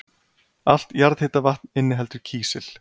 Allt jarðhitavatn inniheldur kísil.